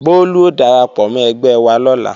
Bólú ó darapọ̀ mọ́ ẹgbẹ́ wa lọ́la